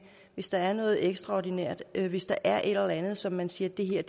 hvis der er noget ekstraordinært hvis der er et eller andet som man siger